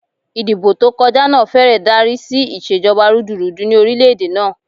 Ìdìbò tó kọjá náà fẹ́rẹ̀ darí sí ìṣèjọba rúdurùdu ni orílẹ̀ èdè náà.